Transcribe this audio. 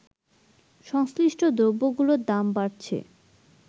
সংশ্লিষ্ট দ্রব্যগুলোর দাম বাড়ছে